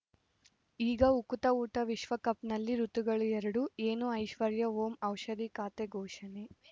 ಈಗ ಉಕುತ ಊಟ ವಿಶ್ವಕಪ್‌ನಲ್ಲಿ ಋತುಗಳು ಎರಡು ಏನು ಐಶ್ವರ್ಯಾ ಓಂ ಔಷಧಿ ಖಾತೆ ಘೋಷಣೆ